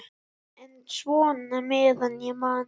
En svona meðan ég man.